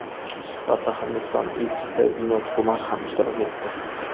Suhbatda Hindiston Elchisi Vinod Kumar ham ishtirok etdi.